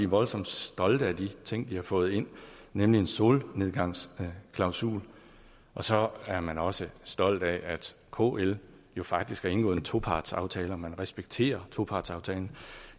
voldsomt stolte af de ting de har fået ind nemlig en solnedgangsklausul og så er man også stolt af at kl faktisk har indgået en topartsaftale man respekterer topartsaftalen